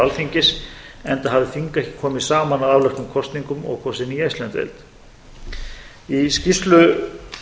alþingis enda hafði þing ekki komið saman að afloknum kosningum og kosið nýja íslandsdeild í skýrslu